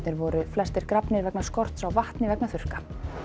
voru flestir grafnir vegna skorts á vatni vegna þurrka